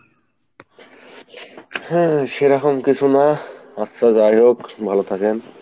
হম সেইসকম কিছু না, আচ্ছা যাইহোক ভালো থাকেন।